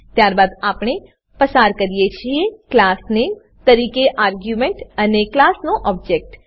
ત્યારબાદ આપણે પસાર કરીએ છીએ class name ક્લાસ નેમ તરીકે આર્ગ્યુંમેંટ અને ક્લાસનો ઓબજેક્ટ